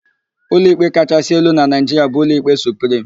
Ụlọikpe kachaasị elu na Naịjiria bụ Ụlọikpe Suprim.